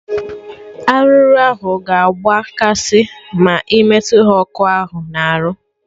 Arụrụ ahụ ga agba kasị ma ị metụ ha ọkụ na arụ